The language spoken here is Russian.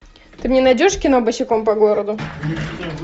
ты мне найдешь кино босиком по городу